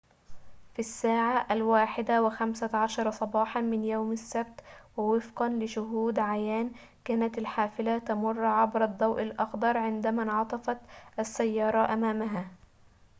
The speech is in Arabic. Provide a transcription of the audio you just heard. في الساعة 1:15 صباحاً من يوم السبت ووفقاً لشهود عيان كانت الحافلة تمر عبر الضوء الأخضر عندما انعطفت السيارة أمامها